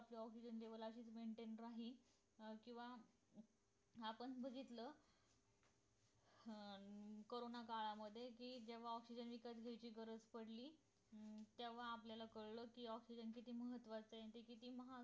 अं maintain राही किंवा आपण बघितलं अं कोरोना काळामध्ये कि जेव्हा ऑक्सिजन विकत घ्यायची गरज पडली अं तेव्हा आपल्याला कळलं कि ऑक्सिजन ची किंमत काय असते